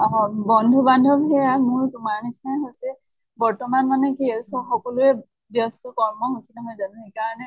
অ বন্ধু বান্ধৱ যে মোৰ তোমাৰ নিছিনাই হৈছে । বৰ্তমান মানে কি হৈছে সকলোৰে ব্য়স্ত কৰ্ম সূচী নহয় জানো। সেই কাৰণে